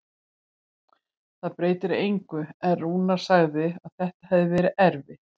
Það breytir engu, en Rúnar sagði að þetta hefði verið erfitt.